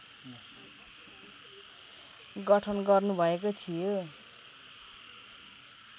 गठन गर्नुभएको थियो